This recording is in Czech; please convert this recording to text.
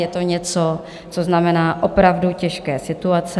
Je to něco, co znamená opravdu těžké situace.